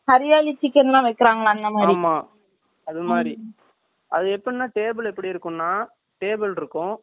அது மாதிரி அது எப்படின்னா table எப்படி இருக்கும்னா table இருக்கும் chair இருக்கும் அதே normal அ இருக்குமா